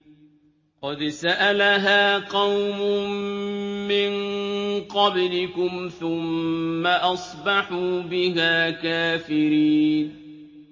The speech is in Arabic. قَدْ سَأَلَهَا قَوْمٌ مِّن قَبْلِكُمْ ثُمَّ أَصْبَحُوا بِهَا كَافِرِينَ